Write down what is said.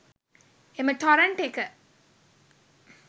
එම ටොරන්ට් එක